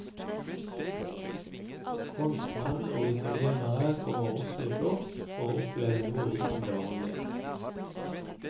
Franskmenn og italienere kommer også i flokk for å oppleve noe utenom det vanlige.